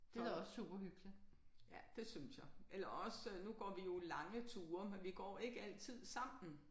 Så ja det synes jeg. Eller også nu går vi jo lange ture men vi går ikke altid sammen